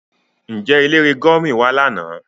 Nje elere gurmi wa lana?